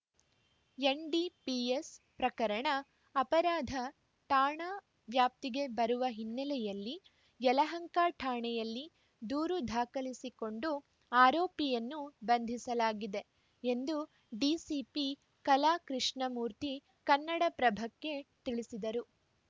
NDPS ಪ್ರಕರಣ ಅಪರಾಧ ಠಾಣಾ ವ್ಯಾಪ್ತಿಗೆ ಬರುವ ಹಿನ್ನೆಲೆಯಲ್ಲಿ ಯಲಹಂಕ ಠಾಣೆಯಲ್ಲಿ ದೂರು ದಾಖಲಿಸಿಕೊಂಡು ಆರೋಪಿಯನ್ನು ಬಂಧಿಸಲಾಗಿದೆ ಎಂದು ಡಿಸಿಪಿ ಕಲಾಕೃಷ್ಣಮೂರ್ತಿ ಕನ್ನಡಪ್ರಭಕ್ಕೆ ತಿಳಿಸಿದರು